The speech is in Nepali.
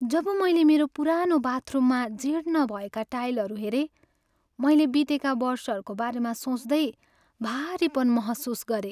जब मैले मेरो पुरानो बाथरुममा जीर्ण भएका टाइलहरू हेरेँ, मैले बितेका वर्षहरूको बारेमा सोच्दै भारीपन महसुस गरेँ।